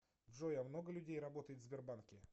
джой а много людей работает в сбербанке